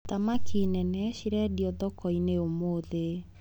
Thamaki nene cirendio thokoinĩ ũmũthĩ.